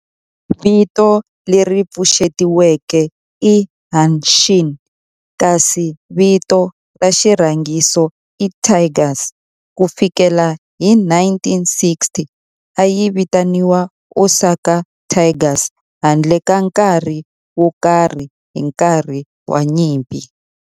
Vito leri pfuxetiweke i Hanshin kasi vito ra xirhangiso i Tigers. Ku fikela hi 1960, a yi vitaniwa Osaka Tigers handle ka nkarhi wo karhi hi nkarhi wa nyimpi.